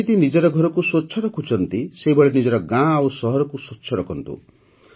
ଯେମିତି ନିଜର ଘରକୁ ସ୍ୱଚ୍ଛ ରଖୁଛନ୍ତି ସେହିଭଳି ନିଜର ଗାଁ ଓ ସହରକୁ ସ୍ୱଚ୍ଛ ରଖନ୍ତୁ